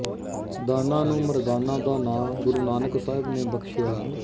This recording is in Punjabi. ਦਾਨਾ ਨੂੰ ਮਰਦਾਨਾ ਦਾ ਨਾਂ ਗੁਰੂ ਨਾਨਕ ਸਾਹਿਬ ਨੇ ਬਖ਼ਸ਼ਿਆ